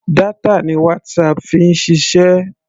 Data ni WhatsApp fi ń ṣiṣẹ́.